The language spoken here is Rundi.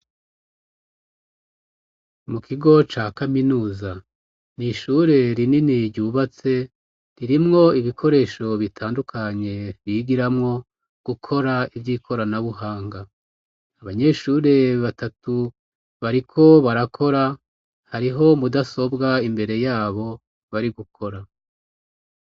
Mu kigo ca kaminuza n'ishure rinini ryubatse ririmwo ibikoresho bitandukanye bigiramwo gukora ivy'ikoranabuhanga ,abanyeshure batatu bariko barakora ,hariho mudasobwa imbere yabo bari gukora.